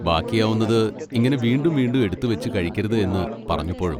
ബാക്കിയാവുന്നത് ഇങ്ങനെ വീണ്ടും വീണ്ടും എടുത്തുവെച്ച് കഴിക്കരുത് എന്ന് പറഞ്ഞപ്പോഴും.